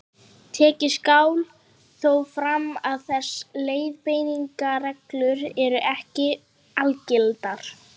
Tekið skal þó fram að þessar leiðbeiningarreglur eru ekki algildar.